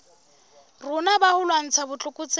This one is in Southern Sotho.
rona ba ho lwantsha botlokotsebe